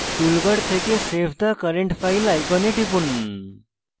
toolbar থেকে save the current file icon টিপুন